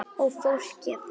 Og fólkið?